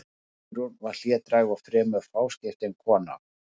Guðrún var hlédræg og fremur fáskiptin kona.